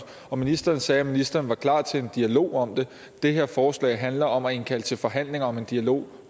og ministeren sagde at ministeren var klar til en dialog om det det her forslag handler om at indkalde til forhandlinger om en dialog